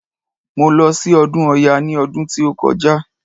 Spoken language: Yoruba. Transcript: Mo lọ sí ọdún ọya ní ọdún tí ó kọjá.